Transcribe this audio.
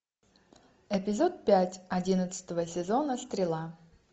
эпизод пять одиннадцатого сезона стрела